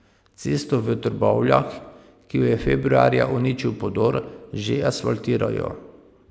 Cesto v Trbovljah, ki jo je februarja uničil podor, že asfaltirajo.